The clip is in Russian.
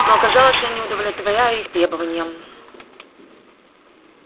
но оказалось я не удовлетворяю их требованиям